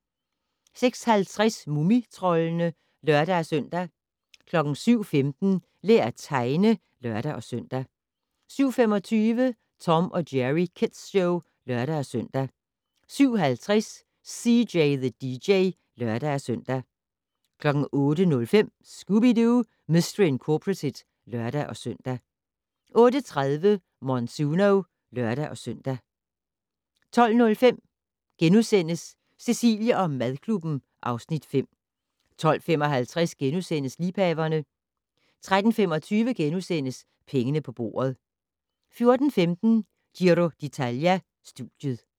06:50: Mumitroldene (lør-søn) 07:15: Lær at tegne (lør-søn) 07:25: Tom & Jerry Kids Show (lør-søn) 07:50: CJ the DJ (lør-søn) 08:05: Scooby-Doo! Mistery Incorporated (lør-søn) 08:30: Monsuno (lør-søn) 12:05: Cecilie & madklubben (Afs. 5)* 12:55: Liebhaverne * 13:25: Pengene på bordet * 14:15: Giro d'Italia: Studiet